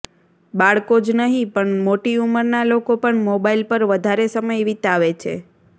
બાળકો જ નહીં પણ મોટી ઉંમરના લોકો પણ મોબાઈલ પર વધારે સમય વીતાવે છે